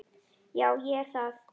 Já, ég er það.